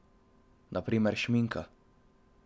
Na primer šminka.